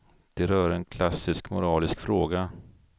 Det rör en klassisk moralisk fråga.